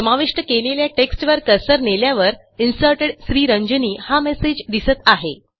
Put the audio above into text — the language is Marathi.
समाविष्ट केलेल्या टेक्स्टवर कर्सर नेल्यावर Inserted श्रीरंजनी हा मेसेज दिसत आहे